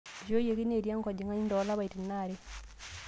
Eishooyioki neeti enkojing'ani too lapaitin aare